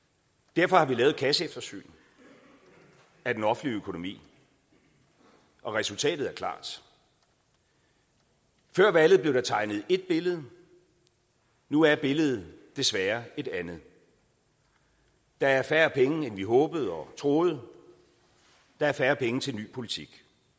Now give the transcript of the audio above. derfor har vi lavet et kasseeftersyn af den offentlige økonomi og resultatet er klart før valget blev der tegnet et billede nu er billedet desværre et andet der er færre penge end vi håbede og troede der er færre penge til en ny politik